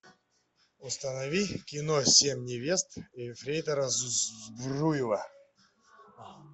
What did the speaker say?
установи кино семь невест ефрейтора збруева